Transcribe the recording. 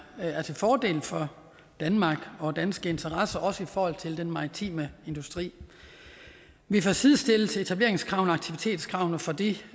er til fordel for danmark og danske interesser også i forhold til den maritime industri vi får sidestillet etableringskravene og aktivitetskravene for de